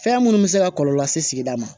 Fɛn minnu bɛ se ka kɔlɔlɔ se sigida ma